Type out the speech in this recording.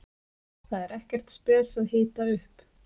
Það er ekkert spes að hita upp.